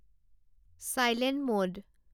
silent মোদ